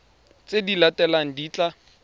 tse di latelang di tla